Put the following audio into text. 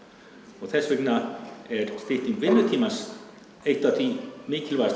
og þess vegna er stytting vinnutímans eitt af því mikilvægasta